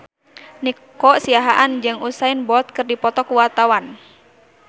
Nico Siahaan jeung Usain Bolt keur dipoto ku wartawan